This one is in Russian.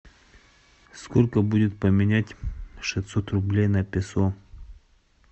сколько будет поменять шестьсот рублей на песо